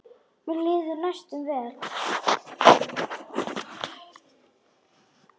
Mér líður næstum vel.